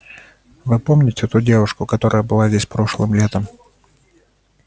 вы помните ту девушку которая была здесь прошлым летом